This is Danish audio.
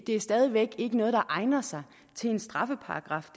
er stadig væk ikke noget der egner sig til en straffeparagraf